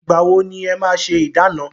Ìgbà wọ ni e máa ṣé ìdána?